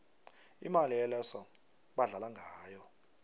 imali eloso badlala ngayo